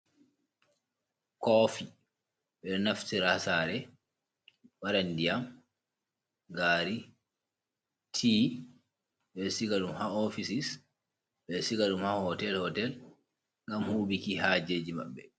Koofi ɓe ɗo naftira ha saare, ɓe waɗa ndiyam, gaari, tii, ɓe siga ɗum ha "oofisis", ɓe siga ɗum ha "hootel-hootel", ngam huuɓki haajeeji maɓɓe.